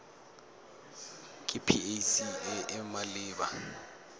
ke pac e e maleba